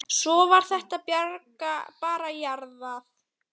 Svo var þetta bara jarðað.